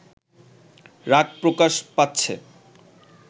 রাগ প্রকাশ পাচ্ছে